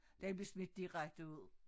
Den blev smidt direkte ud